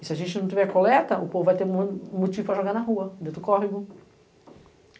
E se a gente não tiver coleta, o povo vai ter motivo para jogar na rua, dentro do córrego.